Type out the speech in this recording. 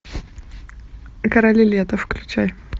короли лета включай